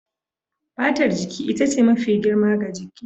Fatar jiki ita ce mafi girma ga jiki.